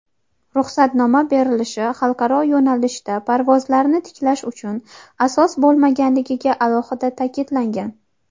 Ruxsatnoma berilishi xalqaro yo‘nalishda parvozlarni tiklash uchun asos bo‘lmaligiga alohida ta’kidlangan.